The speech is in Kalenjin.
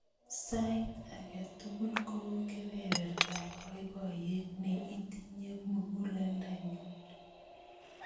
Sait ake tukul kou kepepertap poipoyet ne inyiti muguleldannyu.